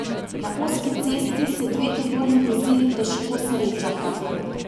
Na ozki cesti se dve tovorni vozili težko srečata.